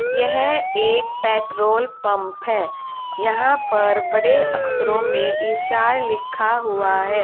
यह एक petrol pump है यहां पर बड़े अक्षरों में इशार लिखा हुआ है।